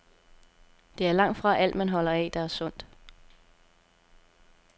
Det er langtfra alt, man holder af, der er sundt.